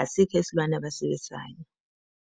asikho isilwane abasiwisayo.